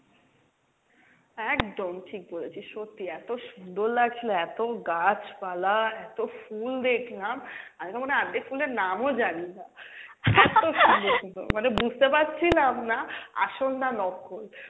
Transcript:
একদম ঠিক বলেছিস, সত্যি এত সুন্দর লাগছিল এত গাছপালা এত ফুল দেখলাম আমি তো মনে হয় আর্ধেক ফুলের নামও জানি না, এত সুন্দর সুন্দর মানে বুঝতে পারছিলাম না আসল না নকল,